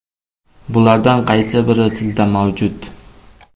Bulardan qaysi biri sizda mavjud?